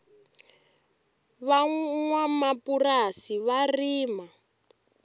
va nwanamapurasi va rima